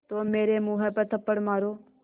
तो मेरे मुँह पर थप्पड़ मारो